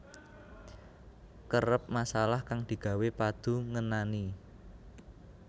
Kerep masalah kang digawe padu ngenani